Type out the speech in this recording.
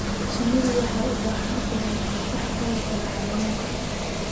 Shinnidu waxay u baahan tahay difaac ka hortagga cayayaanka.